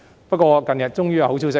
不過，近日終於有好消息。